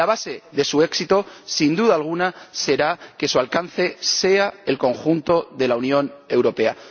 Y la base de su éxito, sin duda alguna, será que abarque el conjunto de la Unión Europea